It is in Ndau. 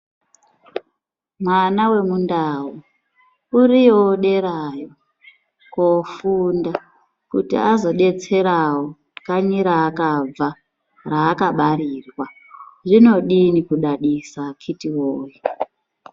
Mwana wemundau, uriyowo derayo kofunda ,kuti azodetserawo kanyi raakabva, raakabarirwa zvinodini kudadisa akiti woye.